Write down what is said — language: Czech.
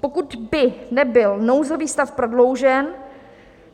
Pokud by nebyl nouzový stav prodloužen,